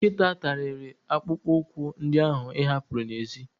Nkịta tariri akpụkpọ ụkwụ ndị ahụ ị hapuru n'èzí.